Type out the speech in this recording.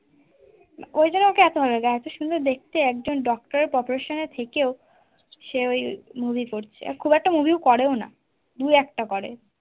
ওই জন্য ওকে এত ভালো লাগে এত সুন্দর দেখতে একজন doctor profession এ থেকেও সে ওই movie করছে, খুব একটা movie ও করেও না দু একটা করে